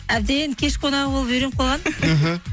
әбден кеш қонағы болып үйреніп қалғанмын іхі